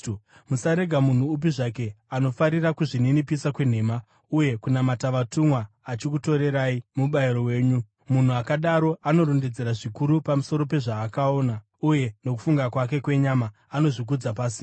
Musarega munhu upi zvake anofarira kuzvininipisa kwenhema uye kunamata vatumwa achikutorerai mubayiro wenyu. Munhu akadaro anorondedzera zvikuru pamusoro pezvaakaona, uye nokufunga kwake kwenyama anozvikudza pasina.